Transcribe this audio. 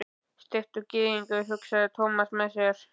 Steiktur gyðingur, hugsaði Thomas með sér.